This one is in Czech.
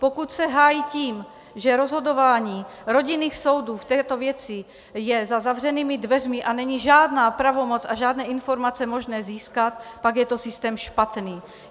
Pokud se hájí tím, že rozhodování rodinných soudů v této věci je za zavřenými dveřmi a není žádná pravomoc a žádné informace možné získat, pak je to systém špatný.